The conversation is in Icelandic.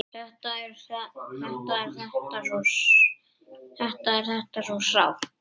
Þetta er þetta svo sárt!